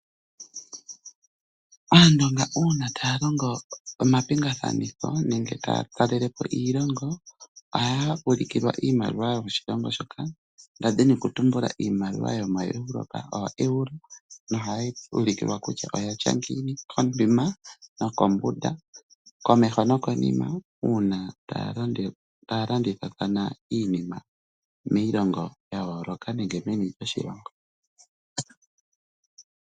Aandonga uuna taya longo omapingathanitho nenge taya kalele po iilongo ohaya ulikilwa iimaliwa yokoshilongo shoka. Ndali ndina okutumbula iimaliwa yomoEurope ooEuro nohaye yi ulikilwa kutya oya tya ngiini komeho nokonima, uuna taya landithathana iinima miilongo ya yooloka nenge meni loshilongo.